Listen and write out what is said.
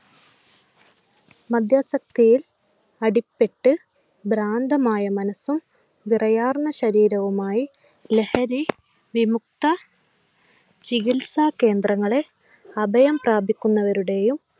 മദ്യാസക്തിയിൽ അടിപ്പെട്ട് ഭ്രാന്തമായ മനസും വിറയാർന്ന ശരീരവുമായി ലഹരി വിമുക്ത ചികിത്സ കേന്ദ്രങ്ങളെ അഭയം പ്രാപിക്കുന്നവരുടെയും